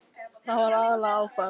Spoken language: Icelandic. Þetta var aðallega áfall.